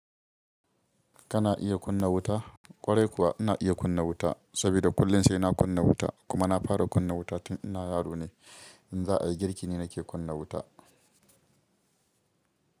Kana iya kunna wuta? Ƙwarai kuwa ina iya kunna wuta saboda kullum sai na kunna wuta kuma na fara kunna wuta tun ina yaro ne. In za a yi girki ne nake kunna wuta.